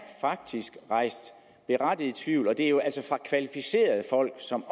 rejst berettiget tvivl og det er jo altså fra kvalificerede folk som